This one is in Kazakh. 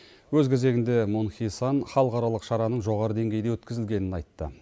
өз кезегінде мун хи сан халықаралық шараның жоғары деңгейде өткізілгенін айтты